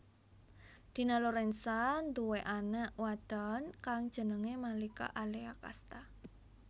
Dina Lorenza nduwé anak wadon kang jenengé Malika Alea Casta